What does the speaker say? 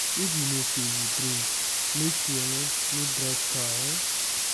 if you know sey you drink make you um no drive car. um